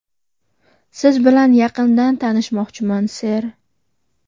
Siz bilan yaqindan tanishmoqchiman, ser.